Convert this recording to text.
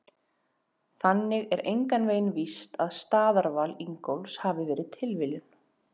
Þannig er engan veginn víst að staðarval Ingólfs hafi verið tilviljun!